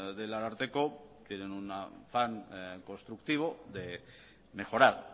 del ararteko tienen un afán constructivo de mejorar